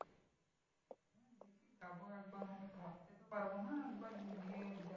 যাবো একবার মানে থাকতে তো পারবো না একবার গিয়ে দে